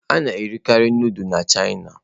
A na-erikarị nudulu na Chịana.